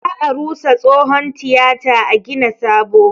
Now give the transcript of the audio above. Za a rusa tsohon tiyata a gina sabo